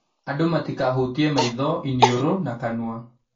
Andũ matikahutie maitho, iniũrũ na kanua